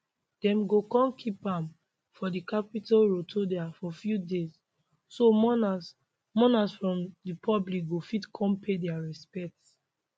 dem go kon keep am for di capitol rotunda for few days so mourners mourners from di public go fit come pay dia respects